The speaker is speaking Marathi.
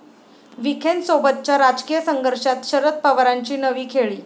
विखेंसोबतच्या राजकीय संघर्षात शरद पवारांची नवी खेळी